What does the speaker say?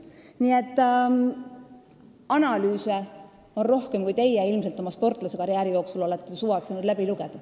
Nii et analüüse on rohkem, kui teie oma sportlasekarjääri jooksul olete ilmselt suvatsenud läbi lugeda.